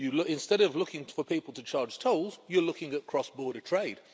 Instead of looking for people to charge tolls, you're looking at cross border trade.